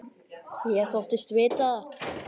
Ég þóttist vita það.